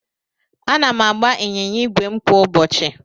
Ana m agba ịnyịnya ígwè m kwa ụbọchị.